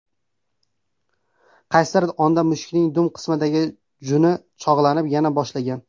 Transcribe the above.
Qaysidir onda mushukning dum qismidagi juni cho‘g‘lanib, yona boshlagan.